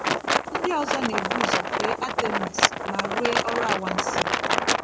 Ndị ọzọ na-ebu ụzọ fee Artemis ma rụọ ọrụ anwansi.